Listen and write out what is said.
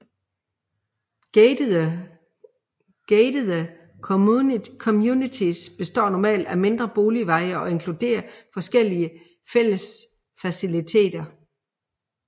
Gatede communities består normalt af mindre boligveje og inkluderer forskellige fællesfaciliteter